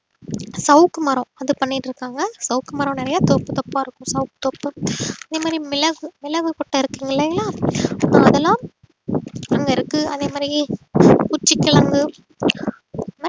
சவுக்கு மரம் அது பண்ணிட்டு இருக்காங்க சவுக்கு மரம் நிறைய தோப்பு தோப்பா இருக்கும் சவுக்கு தோப்பு அதே மாதிரி மிளகு மிளகு கொட்டை இருக்குங்க இல்லைங்களா அதெல்லாம் அங்க இருக்கு அதே மாதிரி குச்சி கிழங்கு